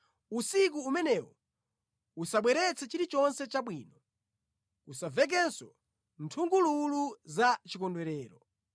Usiku umenewo usabweretse chilichonse chabwino; kusamvekenso nthungululu za chikondwerero.